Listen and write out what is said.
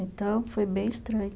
Então, foi bem estranho.